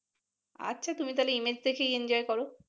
আচ্ছা তুমি তাহলে ইমেজ দেখেই enjoy করো ।